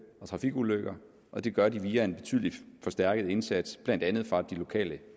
og trafikulykker og det gør de via en betydelig forstærket indsats blandt andet fra de lokale